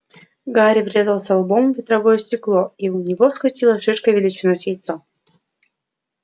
гарри врезался лбом в ветровое стекло и у него вскочила шишка величиной с яйцо